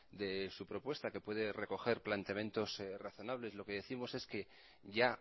de su propuesta que puede recoger planteamientos razonables lo que décimos es que ya